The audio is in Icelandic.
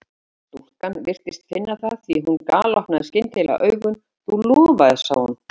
Stúlkan virtist finna það því að hún galopnaði skyndilega augun: Þú lofaðir sagði hún.